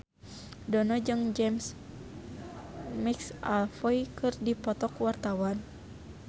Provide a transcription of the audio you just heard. Dono jeung James McAvoy keur dipoto ku wartawan